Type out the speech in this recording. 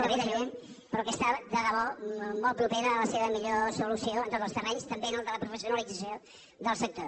que ve de lluny però que està de debò molt propera a la seva millor solució en tots els terrenys també en el de la professionalització del sector